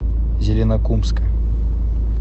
зеленокумска